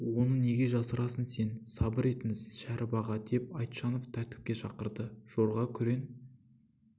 оны неге жасырасың сен сабыр етіңіз шәріп аға деп айтжанов тәртіпке шақырды жорға күрең